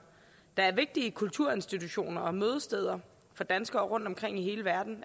der er vigtige kulturinstitutioner og mødesteder for danskere rundtomkring i hele verden